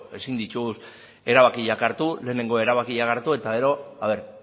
ezin ditugu erabakiak hartu lehenengo erabakiak hartu eta gero a ver